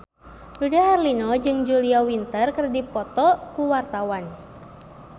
Dude Herlino jeung Julia Winter keur dipoto ku wartawan